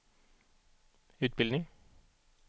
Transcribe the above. utbildning